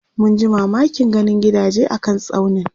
munji mamakin ganin gidaje a kan tsaunin